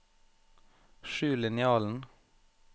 skjul linjalen